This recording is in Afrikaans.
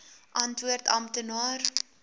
antwoord amptenaar